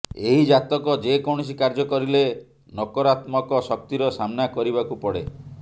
ଏହି ଜାତକ ଯେ କୌଣସି କାର୍ଯ୍ୟ କରିଲେ ନକରାତ୍ମକ ଶକ୍ତିର ସାମ୍ନା କରିବାକୁ ପଡେ